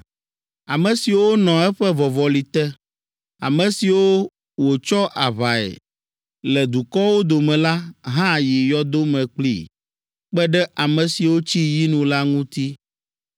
Ame siwo nɔ eƒe vɔvɔli te, ame siwo wòtsɔ aʋae le dukɔwo dome la, hã yi yɔdo me kplii, kpe ɖe ame siwo tsi yinu la ŋuti.